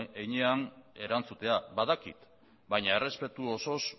heinean erantzutea badakit baina errespetuz osoz